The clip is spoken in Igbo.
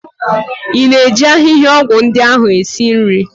Ị na-eji ahịhịaọgwụ ndi ahụ esi nri?